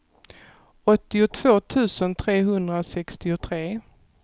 åttiotvå tusen trehundrasextiotre